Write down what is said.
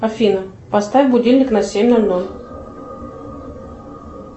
афина поставь будильник на семь ноль ноль